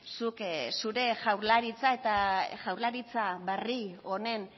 zuk zure jaurlaritza eta jaurlaritza berri honen